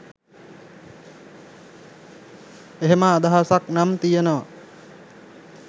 එහෙම අදහසක් නම් තියෙනවා.